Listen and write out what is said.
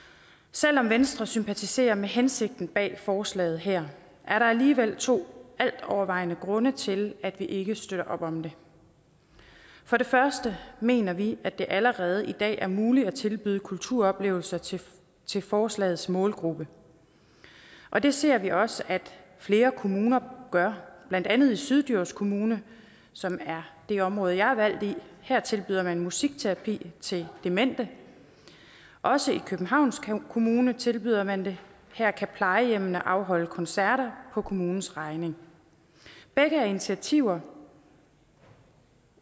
selv om venstre sympatiserer med hensigten bag forslaget her er der alligevel to altovervejende grunde til at vi ikke støtter op om det for det første mener vi at det allerede i dag er muligt at tilbyde kulturoplevelser til til forslagets målgruppe og det ser vi også at flere kommuner gør blandt andet i syddjurs kommune som er det område jeg er valgt i her tilbyder man musikterapi til demente også i københavns kommune tilbyder man det her kan plejehjemmene afholde koncerter på kommunens regning begge er initiativer